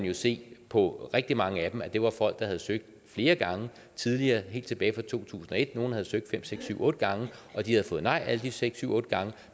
jo se på rigtig mange af dem at det var folk der havde søgt flere gange tidligere helt tilbage fra to tusind og et nogle havde søgt fem seks syv otte gange og de havde fået nej alle de fem seks syv otte gange